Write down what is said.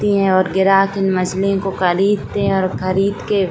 और ग्राहक इन मछलियों को करीदते हैं और खरीद के --